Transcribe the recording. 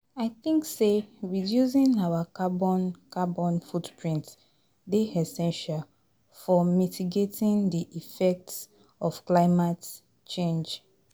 I think say reducing our carbon carbon footprint dey essential for mitigating di effects of climate change.